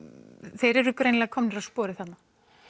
þeir eru greinilega komnir á sporið þarna